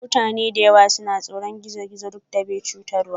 Mutane da yawa suna tsoron gizo-gizo duk da bai chutarwa.